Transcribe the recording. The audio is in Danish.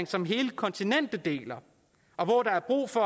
som hele kontinentet deler og hvor der er brug for